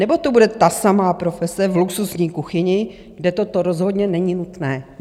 Nebo to bude ta samá profese v luxusní kuchyni, kde toto rozhodně není nutné?